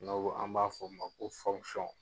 N'anw an b'a fɔ o ma ko .